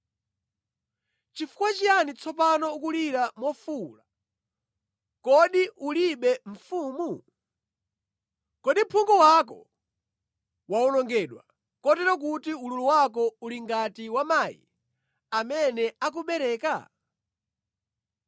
Chifukwa chiyani tsopano ukulira mofuwula, kodi ulibe mfumu? Kodi phungu wako wawonongedwa, kotero kuti ululu wako uli ngati wa mayi amene akubereka?